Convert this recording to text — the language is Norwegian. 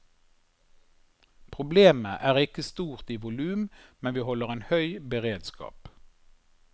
Problemet er ikke stort i volum, men vi holder en høy beredskap.